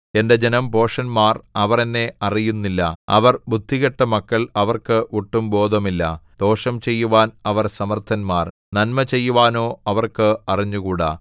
എന്റെ ജനം ഭോഷന്മാർ അവർ എന്നെ അറിയുന്നില്ല അവർ ബുദ്ധികെട്ട മക്കൾ അവർക്ക് ഒട്ടും ബോധമില്ല ദോഷം ചെയ്യുവാൻ അവർ സമർത്ഥന്മാർ നന്മ ചെയ്യുവാനോ അവർക്ക് അറിഞ്ഞുകൂടാ